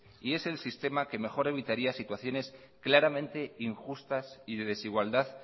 y es el sistema que mejor evitaría situaciones claramente injustas y de desigualdad